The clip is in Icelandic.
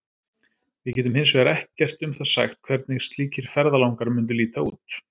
Við getum hins vegar ekkert um það sagt hvernig slíkir ferðalangar mundu líta út.